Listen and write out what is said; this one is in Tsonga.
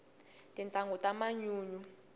tintangu ta manyunyu